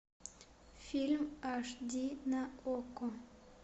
фильм аш ди на окко